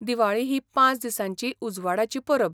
दिवाळी ही पांच दिसांची उजवाडाची परब.